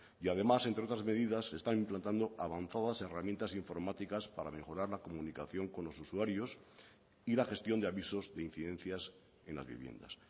y además entre otras medidas se están implantando avanzadas herramientas informáticas para mejorar la comunicación con los usuarios y la gestión de avisos de incidencias en las viviendas